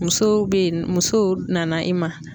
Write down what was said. Musow be yen musow nana i ma.